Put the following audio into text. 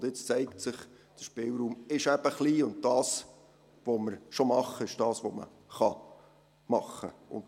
Und jetzt zeigt sich, der Spielraum ist eben klein, und das, was wir schon machen, ist das, was man machen .